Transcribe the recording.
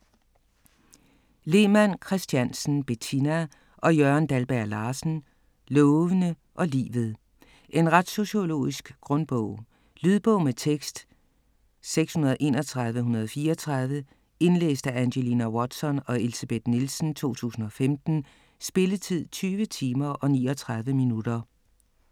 Lemann Kristiansen, Bettina og Jørgen Dalberg-Larsen: Lovene og livet En retssociologisk grundbog. Lydbog med tekst 631134 Indlæst af Angelina Watson og Elsebeth Nielsen, 2015. Spilletid: 20 timer, 39 minutter.